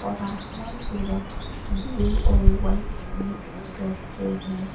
और आसमान पूरा ब्लू और व्हाइट मिक्स करके है।